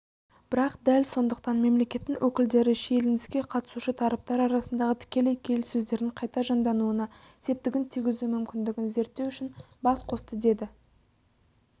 бірақ дәл сондықтан мемлекеттің өкілдері шиеленіске қатысушы тараптар арасындағы тікелей келіссөздердің қайта жандануына септігін тигізу мүмкіндігін зерттеу үшін бас қосты деді